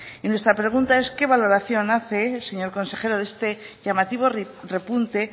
y nuestra pregunta es qué valoración hace señor consejero de este llamativo repunte